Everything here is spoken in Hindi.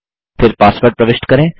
फिर पासवर्ड प्रविष्ट करें